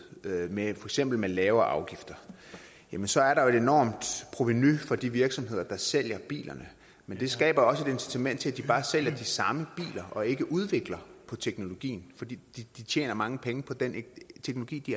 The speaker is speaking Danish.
med for eksempel lavere afgifter så er der et enormt provenu for de virksomheder der sælger bilerne men det skaber også et incitament til at de bare sælger de samme biler og ikke udvikler på teknologien fordi de tjener mange penge på den teknologi de